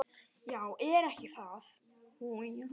"""Já, er ekki það?"""